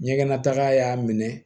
Ɲɛgɛnnataga y'a minɛ